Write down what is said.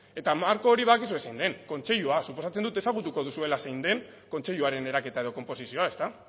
eta marko badakizue zein den kontseilua suposatzen dut ezagutuko duzuela zein den kontseiluaren eraketa edo konposizioa ezta